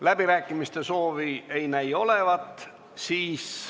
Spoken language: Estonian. Läbirääkimiste soovi ei näi olevat.